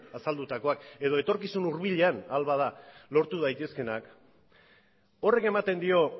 azaldutako edo etorkizun hurbilean lortu daitezkeenak horrek ematen dio